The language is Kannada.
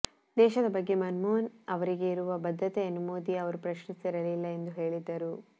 ದೇಶದ ಬಗ್ಗೆ ಮನಮೋಹನ್ ಅವರಿಗೆ ಇರುವ ಬದ್ಧತೆಯನ್ನು ಮೋದಿ ಅವರು ಪ್ರಶ್ನಿಸಿರಲಿಲ್ಲ ಎಂದು ಹೇಳಿದ್ದರು